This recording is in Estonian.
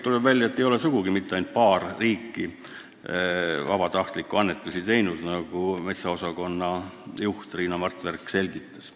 Tuleb välja, et ei ole sugugi ainult paar riiki vabatahtlikke annetusi teinud, nagu metsaosakonna juhataja Riina Martverk selgitas.